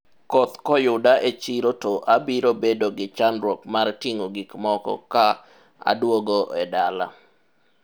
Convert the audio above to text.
okth koyuda e chiro to abiro bedo gi chandruok mar ting'o gikmoko ka adwogo e dala